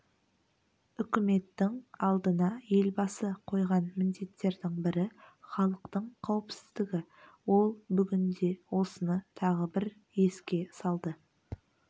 үкіметтің алдына елбасы қойған міндеттердің бірі халықтың қауіпсіздігі ол бүгін де осыны тағы бір еске салды